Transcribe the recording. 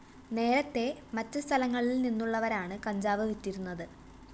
നേരത്തേ മറ്റ് സഥലങ്ങളില്‍ നിന്നുള്ളവരാണ് കഞ്ചാവ് വിറ്റിരുന്നത്